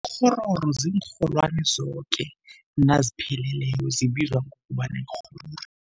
Ikghororo ziinrholwani zoke nazipheleleko, zibizwa ngokobana yikghororo.